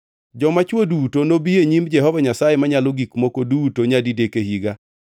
“Joma chwo duto nobi e nyim Jehova Nyasaye Manyalo Gik Moko Duto nyadidek e higa.